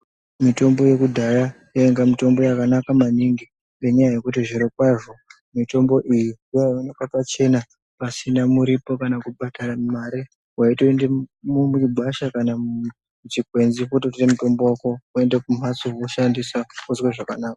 Mitombo yekudaya, yayinga mitombo yakanaka maningi ngenyaya yekuti zvirokwazo mitombo iyi yayiwonekwa pachena pasina muripo kana kubhadhara mari. Wayitoyende mugwasha kana muchikwenzi kutotora mutombo wako woyende kumhatso woshandisawo zvakanaka.